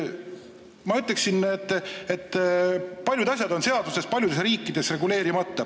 Ma ütleksin, et paljudes riikides on paljud asjad seaduses reguleerimata.